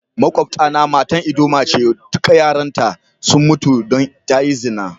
Maƙwabta na matan ldoma ce, dukan yaran ta sun mutu dan ta yi zina.